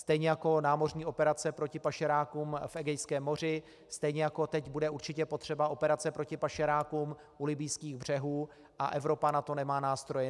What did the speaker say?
Stejně jako námořní operace proti pašerákům v Egejském moři, stejně jako teď bude určitě potřeba operace proti pašerákům u libyjských břehů, a Evropa na to nemá nástroje.